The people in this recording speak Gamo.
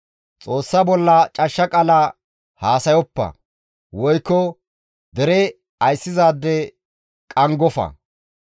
«Xoossa bolla cashsha qaala haasayoppa, woykko dere ayssizaade qanggofa.